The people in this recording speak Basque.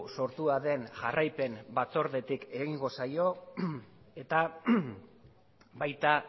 sortua den jarraipen batzordetik egingo zaio eta baita